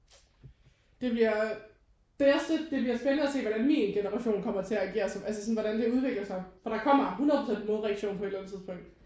Det bliver det er også det. Det bliver spændende at se hvordan min generation kommer til at agere som altså hvordan det udvikler sig. For der kommer 100 procent en modreaktion på et eller andet tidspunkt